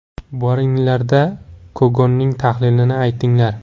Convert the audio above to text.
Boringlar-da, Kogonning tahlilini aytinglar.